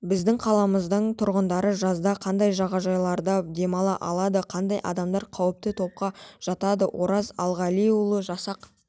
біздің қаламыздың тұрғындары жазда қандай жағажайларда демала алады қандай адамдар қауіпті топқа жатады ораз алғалиұлы жасақ